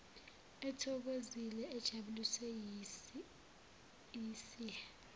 ethokozile ejabuliswe yisihe